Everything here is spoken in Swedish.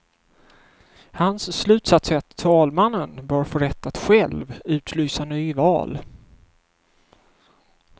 Hans slutsats är att talmannen bör få rätt att själv utlysa nyval.